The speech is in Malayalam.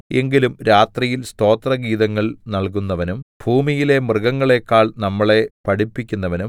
എങ്കിലും രാത്രിയിൽ സ്തോത്രഗീതങ്ങൾ നല്കുന്നവനും ഭൂമിയിലെ മൃഗങ്ങളേക്കാൾ നമ്മളെ പഠിപ്പിക്കുന്നവനും